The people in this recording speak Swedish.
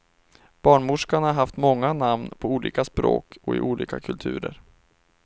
Barnmorskan har haft många namn på olika språk och i olika kulturer.